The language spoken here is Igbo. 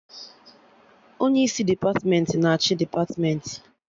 Onye isi depatmentị na achị depatmentị